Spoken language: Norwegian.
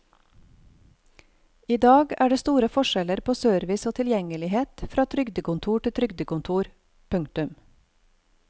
I dag er det store forskjeller på service og tilgjengelighet fra trygdekontor til trygdekontor. punktum